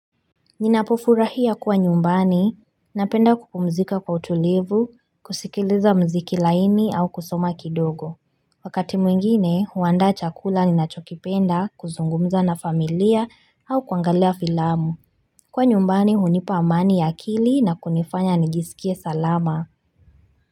Ninapofurahia kuwa nyumbani, napenda kupumzika kwa utulivu, kusikiliza muziki laini au kusoma kidogo. Wakati mwingine, huandaa chakula ninachokipenda, kuzungumza na familia au kuangalia filamu. Kuwa nyumbani, hunipa amani ya akili na kunifanya nijisikie salama.